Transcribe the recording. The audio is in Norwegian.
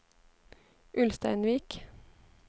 Ulsteinvik